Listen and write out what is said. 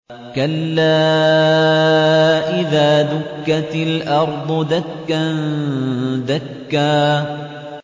كَلَّا إِذَا دُكَّتِ الْأَرْضُ دَكًّا دَكًّا